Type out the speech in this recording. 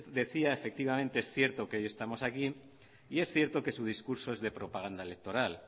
decía efectivamente es cierto que hoy estamos aquí y es cierto que su discurso es de propaganda electoral